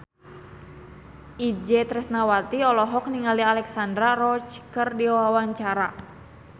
Itje Tresnawati olohok ningali Alexandra Roach keur diwawancara